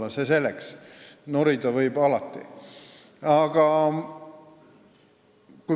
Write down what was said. Aga see selleks, norida võib alati.